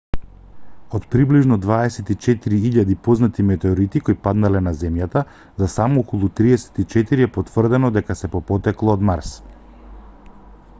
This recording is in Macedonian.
од приближно 24.000 познати метеорити кои паднале на земјата за само околу 34 е потврдено дека се по потекло од марс